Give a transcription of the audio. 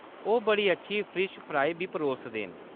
ओह्‌‌ बड़ी अच्छी फिश फ्राई बी परोसदे न।